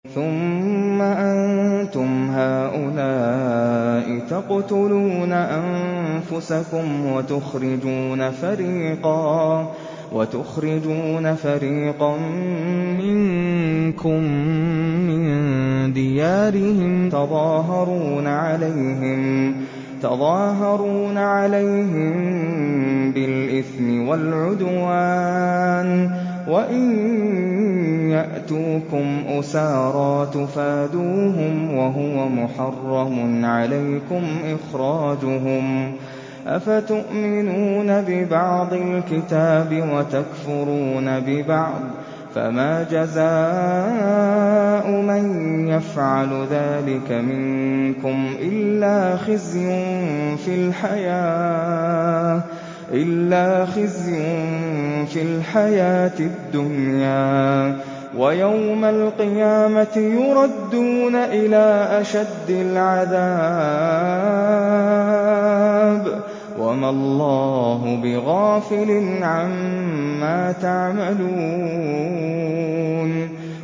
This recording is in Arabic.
ثُمَّ أَنتُمْ هَٰؤُلَاءِ تَقْتُلُونَ أَنفُسَكُمْ وَتُخْرِجُونَ فَرِيقًا مِّنكُم مِّن دِيَارِهِمْ تَظَاهَرُونَ عَلَيْهِم بِالْإِثْمِ وَالْعُدْوَانِ وَإِن يَأْتُوكُمْ أُسَارَىٰ تُفَادُوهُمْ وَهُوَ مُحَرَّمٌ عَلَيْكُمْ إِخْرَاجُهُمْ ۚ أَفَتُؤْمِنُونَ بِبَعْضِ الْكِتَابِ وَتَكْفُرُونَ بِبَعْضٍ ۚ فَمَا جَزَاءُ مَن يَفْعَلُ ذَٰلِكَ مِنكُمْ إِلَّا خِزْيٌ فِي الْحَيَاةِ الدُّنْيَا ۖ وَيَوْمَ الْقِيَامَةِ يُرَدُّونَ إِلَىٰ أَشَدِّ الْعَذَابِ ۗ وَمَا اللَّهُ بِغَافِلٍ عَمَّا تَعْمَلُونَ